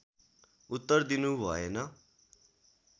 उत्तर दिनु भएन